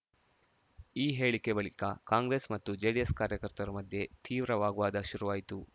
ಈ ಹೇಳಿಕೆ ಬಳಿಕ ಕಾಂಗ್ರೆಸ್‌ ಮತ್ತು ಜೆಡಿಎಸ್‌ ಕಾರ್ಯಕರ್ತರ ಮಧ್ಯೆ ತೀವ್ರ ವಾಗ್ವಾದ ಶುರುವಾಯಿತು